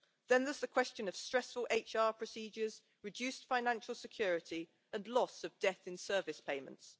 Then there is the question of stressful HR procedures, reduced financial security and loss of death in service payments.